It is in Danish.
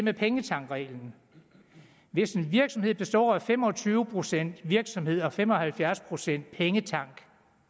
er pengetankreglen hvis en virksomhed består af fem og tyve procent virksomhed og fem og halvfjerds procent pengetank